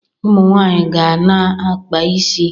Ụmụ nwaanyị ga na-akpa isi.